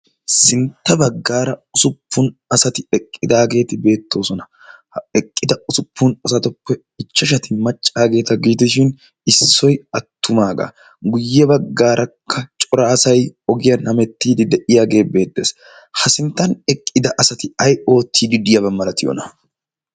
sintta baggaara usuppun asati eqqidaageeti beettoosona ha eqqida usuppun asatoppe ichchashati maccaageeta giitishin issoi attumaagaa guyye baggaarakka coraasai ogiyaa namettiidi de'iyaagee beettees ha sinttan eqqida asati ai oottiididiyaaba malatiyoona?